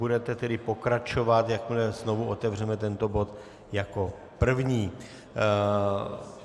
Budete tedy pokračovat, jakmile znovu otevřeme tento bod, jako první.